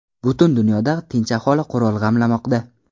Butun dunyoda tinch aholi qurol g‘amlamoqda .